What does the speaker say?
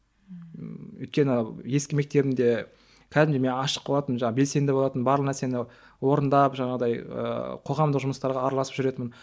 ммм өйткені ескі мектебімде кәдімгідей мен ашық болатынмын жаңағы белсенді болатынмын барлық нәрсені орындап жаңағындай ыыы қоғамдық жұмыстарға араласып жүретінмін